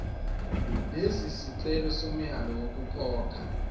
lesisicelo somyalo wokukhokha